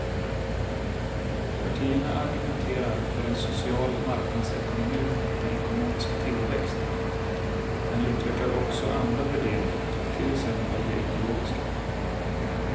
Partierna argumenterar för en social marknadsekonomi med ekonomisk tillväxt men utvecklar också andra värderingar, till exempel de ekologiska.